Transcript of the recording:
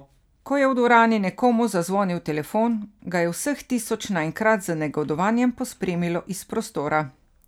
Ko je v dvorani nekomu zazvonil telefon, ga je vseh tisoč naenkrat z negodovanjem pospremilo iz prostora.